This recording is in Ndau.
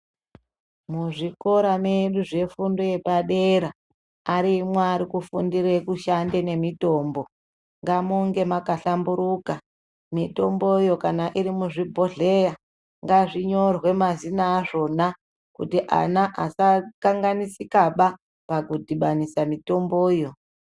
Muzvikora mwedu zvefundo yepadera arimwo arikufundire kushande nemitombo ngamunge makahlmburuka. Mitomboyo kana iri muzvibhedhleya ngazvinyorwe mazina azvona kuti ana asakanganisikaba pakudhibanisa mitomboyo.